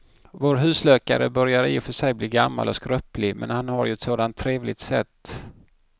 Vår husläkare börjar i och för sig bli gammal och skröplig, men han har ju ett sådant trevligt sätt!